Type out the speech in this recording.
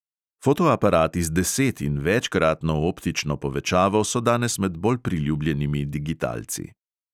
Fotoaparati z deset- in večkratno optično povečavo so danes med bolj priljubljenimi digitalci.